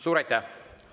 Suur aitäh!